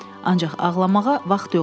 Ancaq ağlamağa vaxt yoxdur.